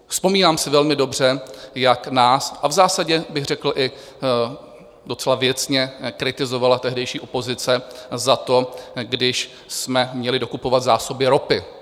Vzpomínám si velmi dobře, jak nás - a v zásadě bych řekl i docela věcně - kritizovala tehdejší opozice za to, když jsme měli dokupovat zásoby ropy.